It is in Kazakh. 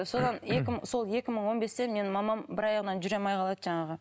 содан екі мың сол екі мың он бесте менің мамам бір аяғынан жүре алмай қалады жаңағы